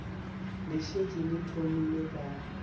le šetše le thomile ka